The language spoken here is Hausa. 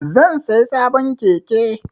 Zan saya sabon keke